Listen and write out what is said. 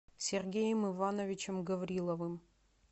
сергеем ивановичем гавриловым